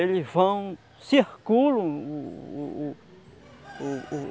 Eles vão, circulam o o o o o